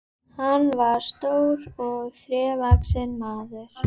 Magnús: Erum við að tala ferðaþjónustuna mikið niður?